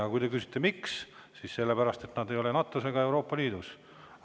Aga kui te küsite, miks, siis sellepärast, et nad ei ole NATO-s ega Euroopa Liidus.